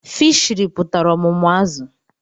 Fishiri pụtara ọmụmụ azụ̀